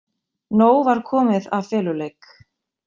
Nóg var komið af feluleik.